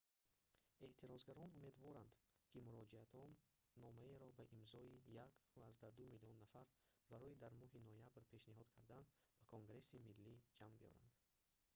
эътирозгарон умедворанд ки муроҷиатномаеро бо имзои 1,2 миллион нафар барои дар моҳи ноябр пешниҳод кардан ба конгресси миллӣ ҷамъ биёранд